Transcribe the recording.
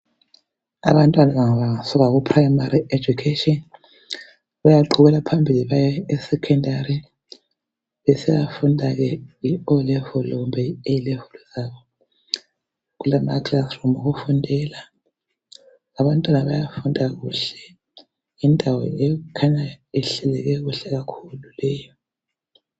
Abantwana laba bafunda ku primary education bayaqhubekela phambili baye secondary besiya funda ke i olevel kumbe i a level zabo kulama kilasi room okufundela abantwana bayafunda kuhle yindawo ekhanya ihleleke kuhle leyi